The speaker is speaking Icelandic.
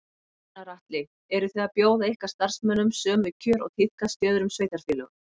Gunnar Atli: Eru þið að bjóða ykkar starfsmönnum sömu kjör og tíðkast í öðrum sveitarfélögum?